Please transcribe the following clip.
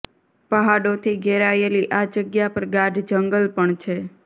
પહાડોથી ઘેરાયેલી આ જગ્યા પર ગાઢ જંગલ પણ છે